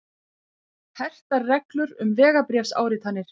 Hertar reglur um vegabréfsáritanir